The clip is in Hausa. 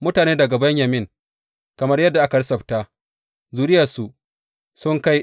Mutane daga Benyamin, kamar yadda aka lissafta zuriyarsu, sun kai